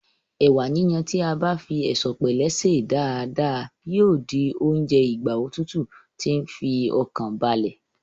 Ẹ̀wà yíyon tí a bá fi ẹ̀sọ̀pẹ̀lẹ́ sè é dáadáa yíò di oúnjẹ ìgbà òtútù tí ń fi ọkàn balẹ̀